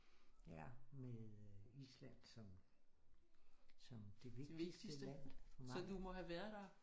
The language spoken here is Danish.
Ja med øh Island som som det vigtigste land for mig